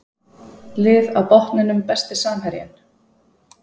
Lið á botninum Besti samherjinn?